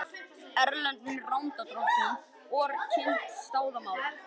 Erlendum lánardrottnum OR kynnt staða mála